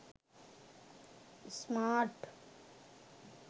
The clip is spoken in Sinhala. smart